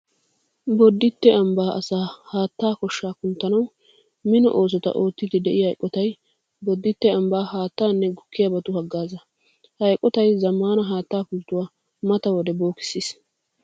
Bodditte ambbaa asaa haattaa koshshaa kunttanawu mino oosota oottiiddi de'iya eqotay Bodditte ambbaa haattaanne gukkiyabatu haggaazaa. Ha eqotay zammaana haattaa pulttuwa mata wode bookissiis.